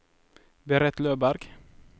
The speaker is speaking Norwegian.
Berit Løberg